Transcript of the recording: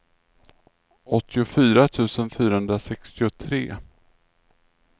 åttiofyra tusen fyrahundrasextiotre